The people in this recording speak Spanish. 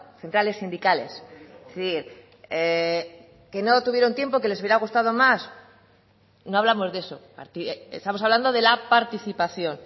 centrales sindicales sí que no tuvieron tiempo que les hubiera gustado más no hablamos de eso estamos hablando de la participación